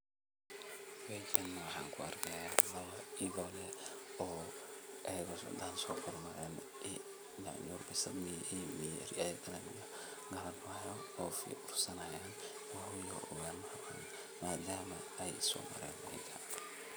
Meeshan neh waxaan kuarkihyaa lawa idhoole oo iyaga oo socdaan sogarab mareen nyanyur bisad iyo eri yaha kale ee gacan kuhyaan eey ursanhyaan madama ey soomaren kuwi kale.